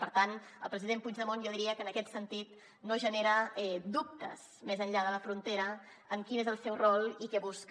per tant el president puigdemont jo diria que en aquest sentit no genera dubtes més enllà de la frontera en quin és el seu rol i què busca